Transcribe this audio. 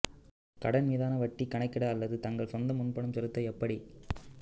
கடன் மீதான வட்டி கணக்கிட அல்லது தங்கள் சொந்த முன்பணம் செலுத்த எப்படி